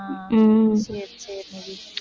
சரி சரி